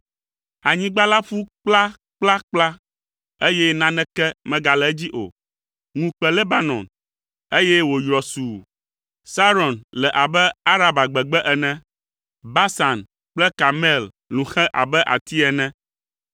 Anyigba la ƒu kplakplakpla, eye naneke megale edzi o. Ŋu kpe Lebanon, eye wòyrɔ sũu. Saron le abe Araba gbegbe ene. Basan kple Karmel lũ xɛ abe ati ene.